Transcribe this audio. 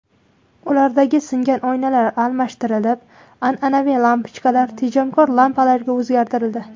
Ulardagi singan oynalar almashtirilib, an’anaviy lampochkalar tejamkor lampalarga o‘zgartirildi.